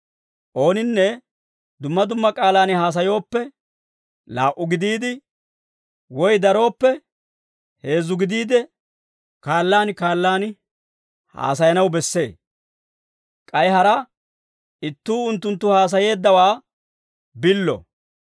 Ooninne dumma dumma k'aalaan haasayooppe, laa"u gidiide, woy darooppe heezzu gidiide, kaallaan kaallaan haasayanaw bessee. K'ay hara ittuu unttunttu haasayeeddawaa billo.